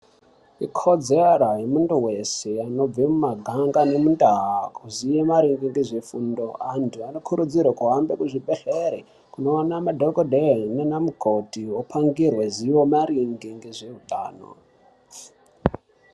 Ukodzero yemuntu wese unobva mumaganga nemundaa kuziye maringe nezvefundo, antu unokuridzirwa kuhambe kuzvibhedhlera kunoona madhokodheya nanamukoti, opangirwe ziyo maringe ngezveutano.